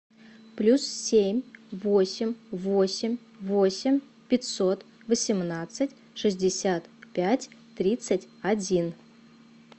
плюс семь восемь восемь восемь пятьсот восемнадцать шестьдесят пять тридцать один